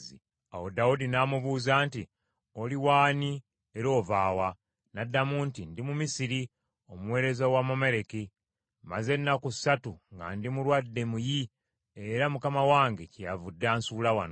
Awo Dawudi n’amubuuza nti, “Oli w’ani era ova wa?” N’addamu nti, “Ndi Mumisiri, omuweereza w’Omwamaleki. Mmaze ennaku ssatu nga ndi mulwadde muyi era mukama wange kyeyavudde ansuula wano.